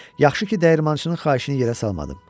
Yaxşı ki, dəyirmançının xahişini yerə salmadım.